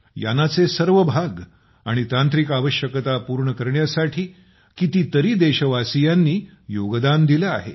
यानाचे सर्व भाग आणि तांत्रिक आवश्यकता पूर्ण करण्यासाठी कितीतरी देशवासियांनी योगदान दिलं आहे